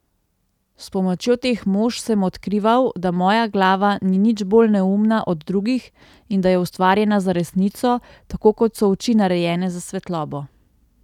S pomočjo teh mož sem odkrival, da moja glava ni nič bolj neumna od drugih in da je ustvarjena za resnico, tako kot so oči narejene za svetlobo!